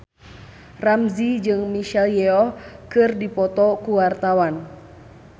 Ramzy jeung Michelle Yeoh keur dipoto ku wartawan